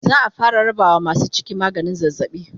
za'a fara rabawa masu ciki maganin zazzabi